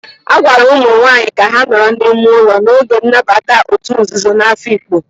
A gwara ụmụ nwanyị ka ha nọrọ n'ime ụlọ n'oge nnabata òtù nzuzo na Afikpo.